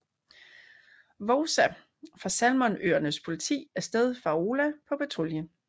Vouza fra Salomonøernes politi af sted fra Aola på patrulje